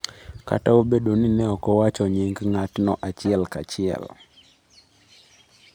Kata obedo ni ne ok owacho nying ng’atno achiel kachiel.